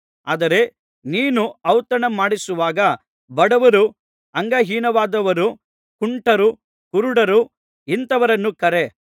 ಆದರೆ ನೀನು ಔತಣ ಮಾಡಿಸುವಾಗ ಬಡವರು ಅಂಗಹೀನವಾದವರು ಕುಂಟರು ಕುರುಡರು ಇಂಥವರನ್ನು ಕರೆ